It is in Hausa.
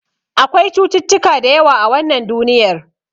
Akwai cututtuka da yawa a wannan duniyar.